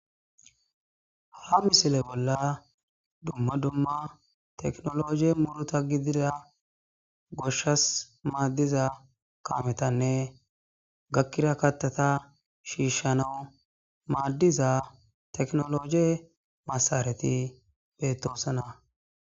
Ha misile bolla dumma dumma teknoloje muuruta gidida goshshas maadiza kaametanne gakkida kataata shiishanaw maadiza teknoloje masaareti beetosona.